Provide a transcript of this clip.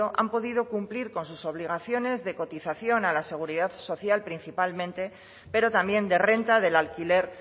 han podido cumplir con sus obligaciones de cotización a la seguridad social principalmente pero también de renta del alquiler